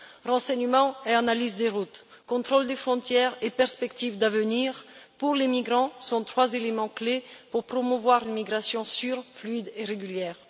Renseignements et analyse des routes, contrôle des frontières et perspectives d'avenir pour les migrants sont trois éléments clés pour promouvoir l'immigration sûre, fluide et régulière.